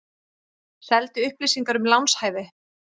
Seldi upplýsingar um lánshæfi